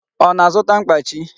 Ọ na-azụta mkpachi?